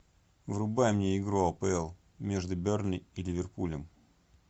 врубай мне игру апл между бернли и ливерпулем